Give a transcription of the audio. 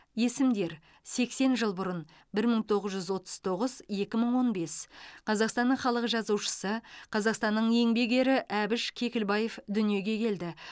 есімдер сексен жыл бұрын бір мың тоғыз жүз отыз тоғыз екі мың он бес қазақстанның халық жазушысы қазақстанның еңбек ері әбіш кекілбаев дүниеге келді